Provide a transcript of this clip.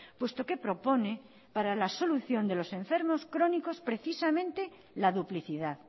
puesto que propone para la solución de los enfermos crónicos precisamente la duplicidad